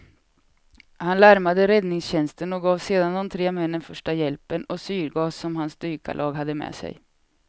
Han larmade räddningstjänsten och gav sedan de tre männen första hjälpen och syrgas som hans dykarlag hade med sig.